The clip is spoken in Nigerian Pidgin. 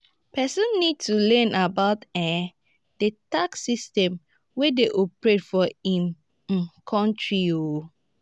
person need to learn about um di tax system wey dey operate for im um country um